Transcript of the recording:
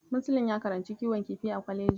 Muslim ya karanci kiwon kifi a kwaleji.